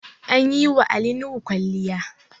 An yi wa Ali Nuhu kwalliya